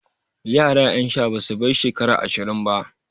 Yara ƴan sha basu bai shekara ashirin ba.